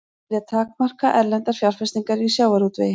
Vilja takmarka erlendar fjárfestingar í sjávarútvegi